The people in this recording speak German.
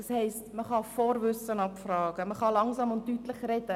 Man kann Vorwissen abfragen und langsam und deutlich sprechen.